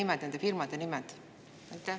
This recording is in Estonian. Mis on nende firmade nimed?